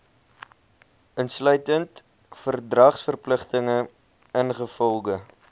insluitend verdragsverpligtinge ingevolge